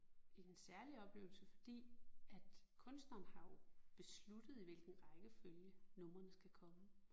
En særlig oplevelse fordi at kunstneren har jo besluttet i hvilken rækkefølge numrene skal komme